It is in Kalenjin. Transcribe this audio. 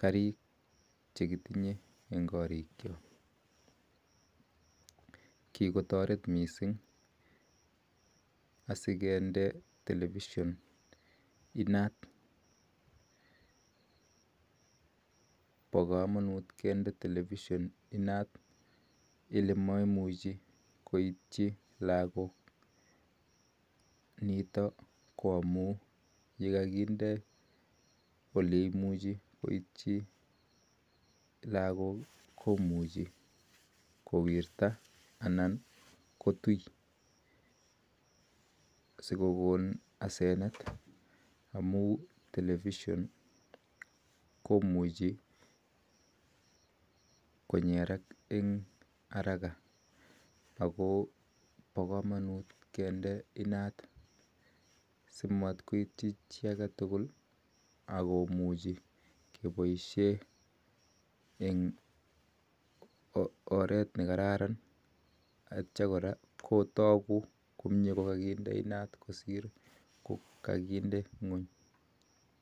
karik chekitinyee eng karik chook kikotaret missing kindee telepisheen inaat olememuchii koitchii lagook amun koitchii lagok kowirtoii ak ko pakamanut kende inat simatkoitchii chi ako tugul atye kora kotagii komnyee kosir nekakindee nguuny